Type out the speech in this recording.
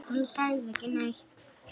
Hún sagði ekki neitt.